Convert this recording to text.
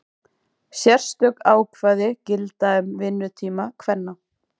Sérstök ákvæði gilda um vinnutíma kvenna.